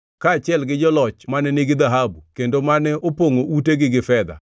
kaachiel gi joloch mane nigi dhahabu, kendo mane opongʼo utegi gi fedha.